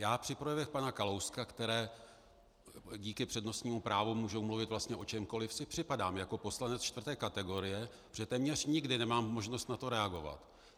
Já při projevech pana Kalouska, které díky přednostnímu právu můžou mluvit vlastně o čemkoliv, si připadám jako poslanec čtvrté kategorie, protože téměř nikdy nemám možnost na to reagovat.